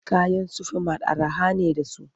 Kayan Sufi mat araha ne da su.